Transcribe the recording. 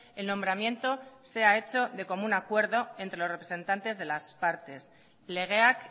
el nombramiento sea hecho de común acuerdo entre los representantes de las partes legeak